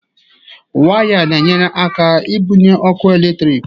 Waya na-enyere aka ibunye ọkụ eletrik